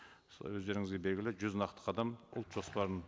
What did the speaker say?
өздеріңізге белгілі жүз нақты қадам ұлт жоспарын